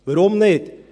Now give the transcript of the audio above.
Warum nicht?